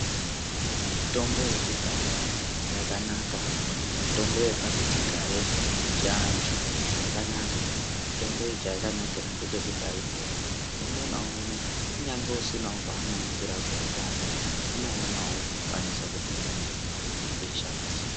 Mitombo yekudhaya yakanaka kana kuti mitombo yepasichigare yechiantu yakanaka. Mitombo iyi chayakanakira ngechekuti aidhuri, umwe naumwe kunyange usina panomukirawo koshanda unoonawo kukwanisa kutenga mitombo iyi nekuishandisa.